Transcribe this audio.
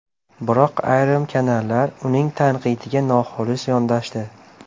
Biroq ayrim kanallar uning tanqidiga noxolis yondashdi .